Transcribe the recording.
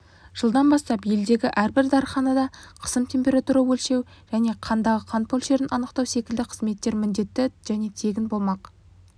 жылдан бастап елдегі әрбір дәрііанада қысым температура өлшеу және қандағы қант мөлшерін анықтау секілді қызметтер міндетті және тегін болмақ